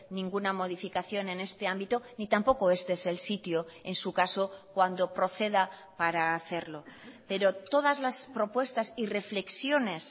ninguna modificación en este ámbito ni tampoco este es el sitio en su caso cuando proceda para hacerlo pero todas las propuestas y reflexiones